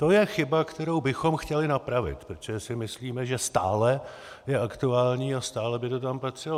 To je chyba, kterou bychom chtěli napravit, protože si myslíme, že stále je aktuální a stále by to tam patřilo.